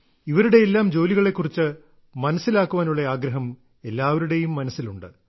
ഇവരുടെയെല്ലാം ജോലികളെ കുറിച്ച് മനസ്സിലാക്കാനുള്ള ആഗ്രഹം എല്ലാവരുടെയും മനസ്സിലുണ്ട്